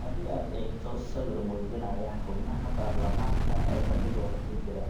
Haddii aad eegto sawir muujinaya xubnaha baarlamaanka oo fadhigooda ku jira,